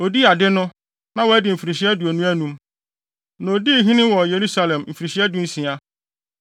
Odii ade no, na wadi mfirihyia aduonu anum, na odii hene wɔ Yerusalem mfirihyia dunsia.